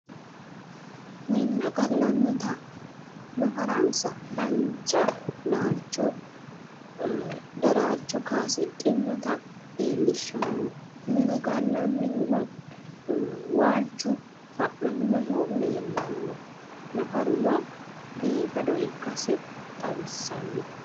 Minna gallannita, nafaransa dancha laalcho daraarcho kaasidhinnota leellishshanno. Minu gallannihuno waalchu fa’naminohu leellanno. Nafaruno biifado ikkasi xawissanno.